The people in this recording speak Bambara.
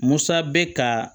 Musa bɛ ka